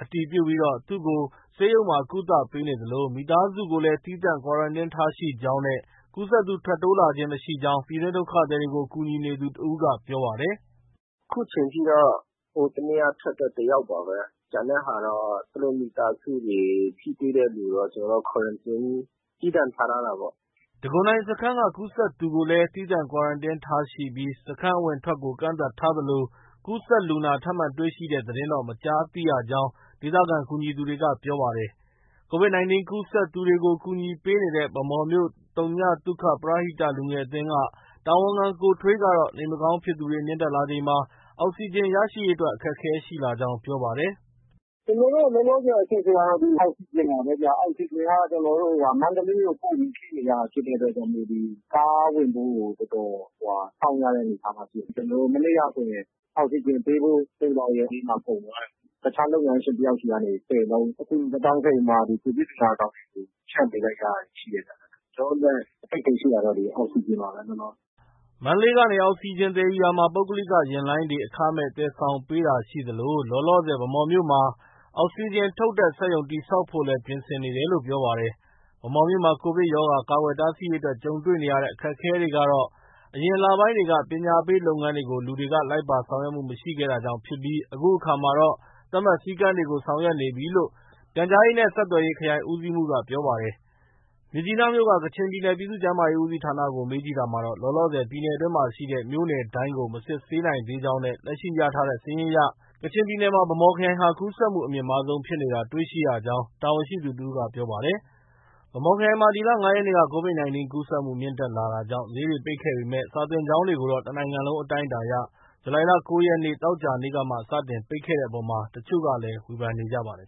အတည်ပြုပြီး သူ့ကို ဆေးရုံမှာ ကုသပေးနေသလို မိသားစုကိုလည်း သီးသန့် Quarantine ထားရှိကြောင်းနဲ့ ကူးစက်သူ ထပ်မံ တိုးမြင့်လာတာ မရှိကြောင်း ပြည်တွင်းဒုက္ခသည်တွေကို ကူညီနေသူတစ်ဦးက ပြောပါတယ်။ “အခုချိန်ထိတော့ ဟိုတစ်နေ့က ထွက်တဲ့ တစ်ယောက်ပါပဲ။ ကျန်တဲ့ဟာတော့ သူတို့ မိသားစုတွေ၊ ထိတွေ့တဲ့သူတော့ သူတို့ Quarantine သီးသန့်ထား ထားတာပေါ့။ ထပ်တိုးလူနာတော့ မရှိဘူး။” တံခွန်တိုင်စခန်းက ကူးစက်သူကိုလည်း သီးသန့် Quarantine ထားရှိပြီး စခန်း အဝင်အထွက်ကို ကန့်သတ်ထားသလို ကူးစက်လူနာ ထပ်မံတွေ့ရှိတဲ့သတင်းတော့ မကြားသိရကြောင်း ဒေသခံကူညီသူတွေက ပြောပါတယ်။ Covid 19 ကူးစက်သူတွေကို ကူညီပေးနေတဲ့ ဗန်းမော်မြို့ သုညသုခ ပရဟိတ လူငယ်အသင်းက တာဝန်ခံ ကိုထွေးကတော့ နေမကောင်းဖြစ်သူတွေ မြင့်တက်လာချိန်မှာ အောက်စီဂျင်ရရှိရေးအတွက် အခက်အခဲ ရှိလာကြောင်း ပြောပါတယ်။ “ ကျနော်တို့ လောလောဆည်အခက်အခဲကတော့ အောက်စီဂျင်ပါပဲဗျ။ အောက်စီဂျင်က ကျနော်တို့ မန္တလေးကို ပို့ပြီး ဖြည့်နေရတာဖြစ်တဲ့အတွက်ကြောင့် ဒီ ကားဝင်ဖို့ကို တော်တော် စောင့် ရတဲ့အနေအထားမှာ ရှိတယ်။ မနေ့ကဆိုရင် အောက်စီဂျင်ပေးဖို့ သိုလှောင်ရုံတွေမှာ ကုန်သွားတယ်။ တခြားလုပ်ငန်းရှင်တစ်ယောက်ဆီကနေ ၁၀လုံး အကူအညီ သွားတောင်းခဲ့ပြီးမှ Covid လူနာဆောင်တွေ ဖြန့်ပေးလိုက်ရတာတွေ ရှိတယ်။ ကျနော်တို့အတွက် အခက်အခဲရှိတာကတော့ အောက်စီဂျင်ပါပဲ။ ” မန္တလေးကနေ အောက်စီဂျင်သယ်ယူရာမှာ ပုဂ္ဂလိက ယာဉ်လိုင်းတွေက အခမဲ့ သယ်ဆောင်ပေးတာရှိသလို လောလောဆည် ဗန်းမော်မြို့မှာ အောက်စီဂျင်ထုတ်တဲ့ စက်ရုံ တည်ဆောက်ဖို့လည်း ပြင်ဆင်နေတယ်လို့ ပြောပါတယ်။ ဗန်းမော်မြို့မှာ Covid ရောဂါ ကာကွယ်တားဆီးရေးအတွက် ကြုံတွေ့ခဲ့ရတဲ့အခက်အခဲကတော့ အရင်လပိုင်း တွေက ပညာပေးလုပ်ငန်းတွေကို လူတွေက လိုက်ပါဆောင်ရွက်မှု မရှိခဲ့တာကြောင့်ဖြစ်ပြီး အခုအခါမှာတော့ သတ်မှတ် စည်းကမ်းတွေကို ဆောင်ရွက်နေပြီလို့ ပြန်/ဆက် ခရိုင် ဦးစီးမှုးက ပြောပါတယ်။ မြစ်ကြီးနားမြို့က ကချင်ပြည်နယ် ပြည်သူ့ ကျန်းမာရေး ဦးစီးဌာနကို မေးမြန်းရာမှာတော့ လောလောဆည် ပြည်နယ်အတွင်းရှိ မြို့နယ်တိုင်းကို မစစ်ဆေးနိုင်သေးကြောင်းနဲ့ လက်ရှိရရှိထားတဲ့စာရင်းအရ ကချင်ပြည်နယ်မှာ ဗန်းမော်ခရိုင်ဟာ ကူးစက်မှုအမြင့်မားဆုံးဖြစ်နေတာ တွေ့ရှိရကြောင်းတာဝန်ရှိသူတစ်ဦးက ပြောပါတယ်။ ဗန်းမော်ခရိုင်မှာ ဒီလ ၅ရက်နေ့က Covid 19 ကူးစက်မှုမြင့်တက်လာတာကြောင့် ဈေးတွေ ပိတ်ခဲ့ပေမဲ့ စာသင်ကျောင်းတွေကိုတော့ တစ်နိုင်ငံလုံးအတိုင်းအတာအရ ဇူလိုင်လ ၉ ရက် သောကြာနေ့ကမှ စတင်ပိတ်တဲ့အပေါ် တချို့ကလည်း ဝေဖန်နေကြပါတယ်